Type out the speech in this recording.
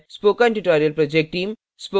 spoken tutorial project team